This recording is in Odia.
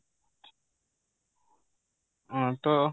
ହଁ ତ